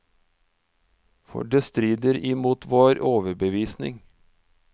For det strider imot vår overbevisning.